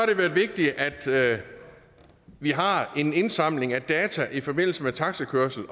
det været vigtigt at vi har en indsamling af data i forbindelse med taxikørsel